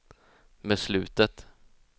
beslutet